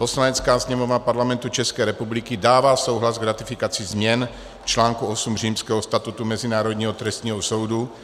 "Poslanecká sněmovna Parlamentu České republiky dává souhlas k ratifikaci změn článku 8 Římského statutu Mezinárodního trestního soudu."